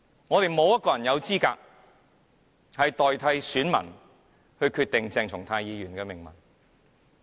我們沒有人有資格代選民決定鄭松泰議員的命運。